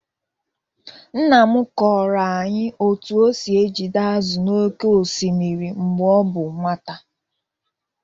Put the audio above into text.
Nna m kọọrọ anyị otu o si ejide azụ̀ n’oké osimiri mgbe ọ bụ nwata.